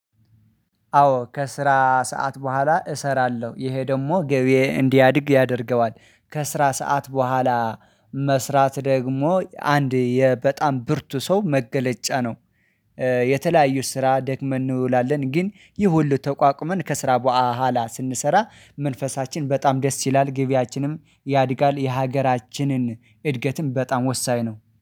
አዎ ከስራ ሰዓት በህዋላ እሰራለሁ ይሄ ደግሞ ገቢዬ እንዲያድግ ያደርገዋል ከስራ ሰዓት በህዋላ መስራት ደግሞ አንድ የ በጠም ብርቱ ሰው መገለጫ ነው። የተለያዩ ስራ ደክመን እንውላለን ግን ይህ ሁሉ ተቋቁመን ከስራ በህዋላ ስንሰራ መንፈሳችን በጣም ደስ ይላል ግብያችንም ያድጋል የሀገራችንን እድገትም በጣም ወሳኝ ነው